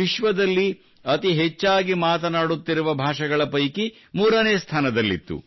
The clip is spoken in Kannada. ವಿಶ್ವದಲ್ಲಿ ಅತಿ ಹೆಚ್ಚಾಗಿ ಮಾತನಾಡುತ್ತಿರುವ ಭಾಷೆಗಳ ಪೈಕಿ ಮೂರನೇ ಸ್ಥಾನದಲ್ಲಿತ್ತು